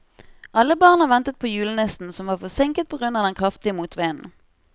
Alle barna ventet på julenissen, som var forsinket på grunn av den kraftige motvinden.